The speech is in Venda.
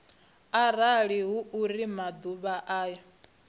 arali hu uri maḓuvha ayo